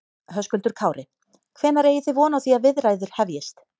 Höskuldur Kári: Hvenær eigi þið von á því að viðræður hefjist?